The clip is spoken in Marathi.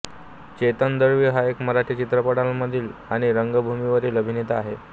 चेतन दळवी हा एक मराठी चित्रपटांमधील आणि रंगभूमीवरील अभिनेता आहे